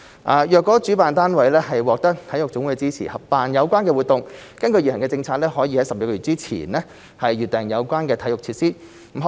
倘若主辦單位獲得體育總會的支持合辦有關活動，根據現行的政策，可於12個月前預訂有關的體育設施。